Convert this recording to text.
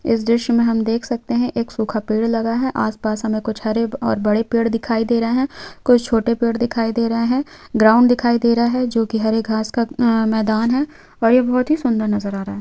इस दृश्य मे हम देख सकते है एक सूखा पेड़ लगा है आस-पास हमे कुछ हरे और बड़े पेड़ दिखाई दे रहे है कुछ छोटे पेड़ दिखाई दे रहे है ग्राउंड दिखाई दे रहा है जो की हरे घास का मैदान है और ये बहुत ही सुंदर नजर आ रहा हैं।